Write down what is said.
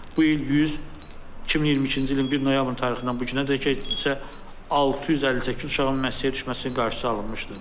Bu il 100, 2022-ci ilin 1 noyabr tarixindən bu günədək isə 658 uşağın müəssisəyə düşməsinin qarşısı alınmışdır.